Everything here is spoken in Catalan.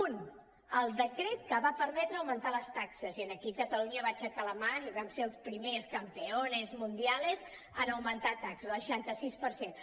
un el decret que va permetre augmentar les taxes i aquí catalunya va aixecar la mà i vam ser els primers campeones mundiales en augmentar taxes el seixanta sis per cent